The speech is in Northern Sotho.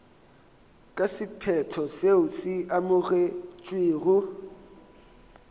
ka sephetho seo se amogetšwego